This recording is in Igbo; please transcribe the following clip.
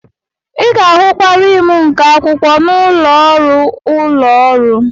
Ị ga-ahụkwa rim nke akwụkwọ n'ụlọ ọrụ ụlọ ọrụ.